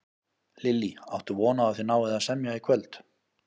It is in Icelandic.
Lillý: Áttu von á að þið náið að semja í kvöld?